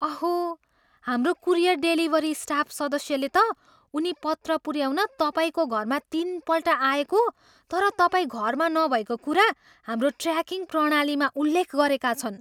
अहो! हाम्रो courier delivery staff सदस्यले त उनी पत्र पुऱ्याउन तपाईँको घरमा तिनपल्ट आएको तर तपाईँ घरमा नभएको कुरा हाम्रो ट्र्याकिङ प्रणालीमा उल्लेख गरेका छन्।